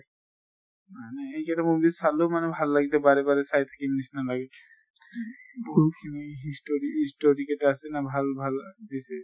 মানে এইকেটা movies চালো মানে ভাল লাগিলে বাৰে বাৰে চাই থাকিম নিছিনা লাগে। বহুত খিনি story story কেটা আছে না ভাল ভাল দিছে